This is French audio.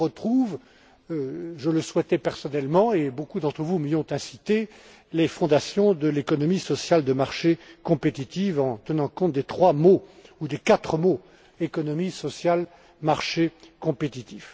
Ces derniers retrouvent je le souhaitais personnellement et beaucoup d'entre vous m'y ont incité les fondations de l'économie sociale de marché compétitive en tenant compte des trois mots, ou des quatre mots économie, social, marché, compétitif.